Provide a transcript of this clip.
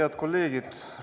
Head kolleegid!